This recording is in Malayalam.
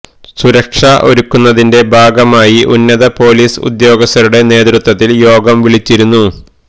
സുരക്ഷ ഒരുക്കുന്നതിന്റെ ഭാഗമായി ഉന്നത പൊലീസ് ഉദ്യോഗസ്ഥരുടെ നേതൃത്വത്തില് യോഗം വിളിച്ചിരുന്നു